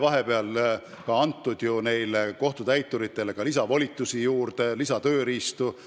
Vahepeal sai ju kohtutäituritele lisavolitusi, lisatööriistu juurde antud.